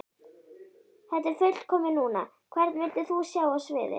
Þetta er fullkomið núna Hvern vildir þú sjá á sviði?